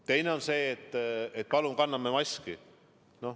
Teine on see, et palun kanname maski.